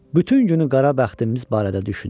Bütün günü qara bəxtimiz barədə düşündük.